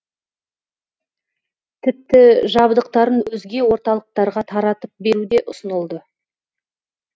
тіпті жабдықтарын өзге орталықтарға таратып беру де ұсынылды